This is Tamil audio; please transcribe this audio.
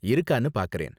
இருக்கானு பாக்கறேன்.